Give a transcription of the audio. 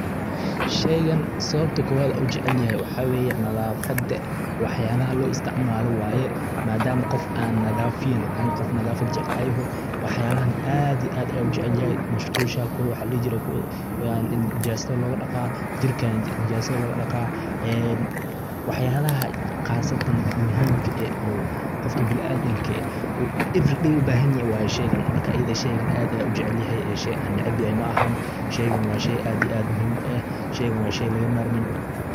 Shaygan sababta kowaad an u jecelyahay waxaa weye nadaafada waxyalaha lo isticmaala waye maadama qof aan nadaafiyan ani qof aa nadafad jecel aan yaho waxyalahan aad iyo aad ayan u jecelyahay musqusha kow waxa ladhihi jire ee nijasada loogadhaqa jirka nijasada logadhaqa ee waxyaalaha qaasatan muhiimka eh o qofka biniadamka eh every day u bahanyahy waye shaygan marka adiga shaygan aad ayan u jecelyahay ee shay aan necebyahay maahan shaygan waa shay aad iyo aad muhiim u eh shaygan waa shay laga marmin.